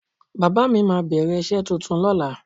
Bàbá mi máa bẹ̀rẹ̀ iṣẹ́ tuntun lóla.